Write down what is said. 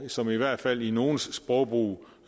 som i hvert fald i nogles sprogbrug